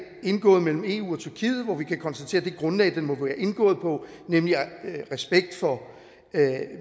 indgået mellem eu og tyrkiet og hvor vi kan konstatere at det grundlag den må være indgået på nemlig respekt for